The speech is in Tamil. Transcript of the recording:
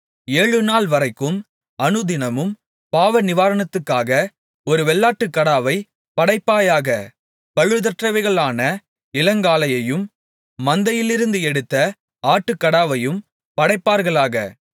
ஏழுநாள்வரைக்கும் அனுதினமும் பாவநிவாரணத்துக்காக ஒரு வெள்ளாட்டுக்கடாவைப் படைப்பாயாக பழுதற்றவைகளான இளங்காளையையும் மந்தையிலிருந்து எடுத்த ஆட்டுக்கடாவையும் படைப்பார்களாக